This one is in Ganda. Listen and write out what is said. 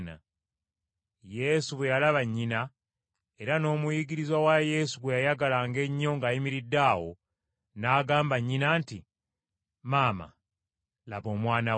Yesu bwe yalaba nnyina, era n’omuyigirizwa Yesu gwe yayagalanga ennyo ng’ayimiridde awo, n’agamba nnyina nti, “Maama, laba omwana wo.”